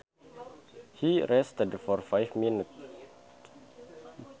He rested for five minutes